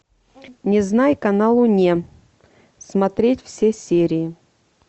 незнайка на луне смотреть все серии